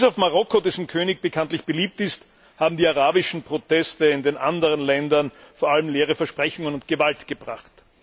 Bis auf Marokko, dessen König bekanntlich beliebt ist, haben die arabischen Proteste in den anderen Ländern vor allem leere Versprechungen und Gewalt gebracht.